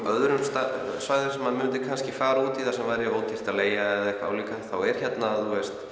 öðrum svæðum sem að maður myndi kannski fara út í þar sem væri ódýrt að leigja eða álíka þá er hérna